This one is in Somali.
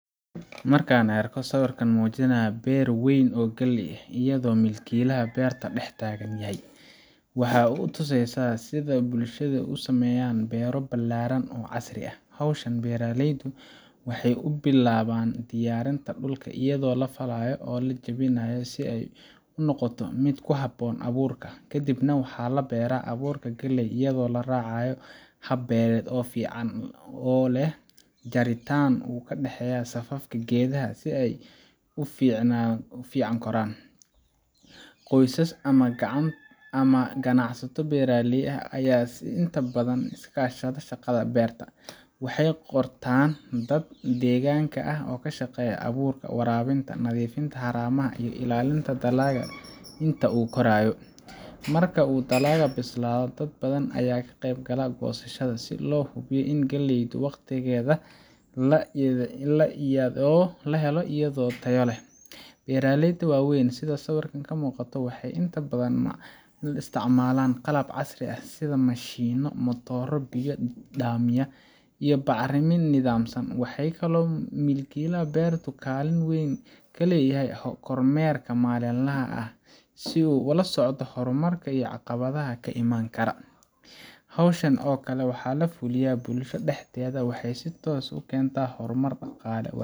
Marka aan eegno sawirkan oo muujinaya beer weyn oo galley ah, iyadoo milkiilaha beerta dhex taagan yahay, waxa uu na tusayaa sida bulshada ay u sameeyaan beero ballaaran oo casri ah. Hawshan beeraleydu waxay ka bilaabaan diyaarinta dhulka iyadoo la falayo ama la jabinayo si ay u noqoto mid ku habboon abuurka. Kadibna, waxaa la beeraa abuurka galleyda iyadoo la raacayo hab beereed fiican oo leh jaritaan u dhexeeya safafka geedaha si ay si fiican u koraan. Qoysas ama ganacsato beeraley ah ayaa inta badan iska kaashanaya shaqada beerta waxay qortaan dad deegaanka ah oo ka shaqeeya abuurka, waraabinta, nadiifinta haramaha, iyo ilaalinta dalagga inta uu korayo. Marka uu dalagga bislaado, dad badan ayaa ka qaybqaata goosashada si loo hubiyo in galleeydu waqtigeeda la helo iyadoo tayo leh. Beeraleyda waaweyn sida sawirka ka muuqda, waxay inta badan isticmaalaan qalab casri ah sida mashiinno, matooro biyo dhaamiya, iyo bacriminta nidaamsan. Waxa kale oo milkiilaha beertu kaalin wayn ku leeyahay kormeerka maalinlaha ah, si uu ula socdo horumarka iyo caqabadaha ka iman kara. Hawshan oo kale oo laga fuliyo bulshada dhexdeeda waxay si toos ah u keentaa horumar dhaqaale,